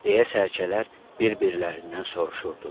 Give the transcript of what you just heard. deyə sərgələr bir-birlərindən soruşurdular.